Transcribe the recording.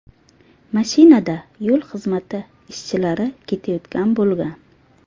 Mashinada yo‘l xizmati ishchilari ketayotgan bo‘lgan.